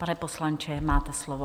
Pane poslanče, máte slovo.